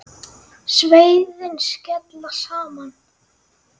Sverðin skella saman.